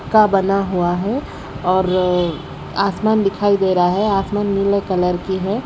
का बना हुआ है और आसमान दिखाई दे रहा है आसमान नीले कलर की है।